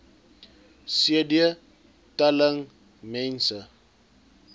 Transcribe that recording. cd telling mense